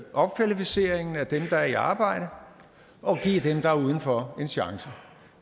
opkvalificeringen af dem der er i arbejde og give dem der er udenfor en chance